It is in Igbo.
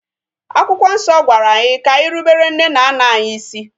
Akwụkwọ nsọ gwara anyị ka anyi rubere nne na nna anyi isi.